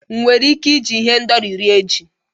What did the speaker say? Enwere m ike iji ihendori rie ji?